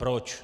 Proč?